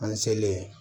An selen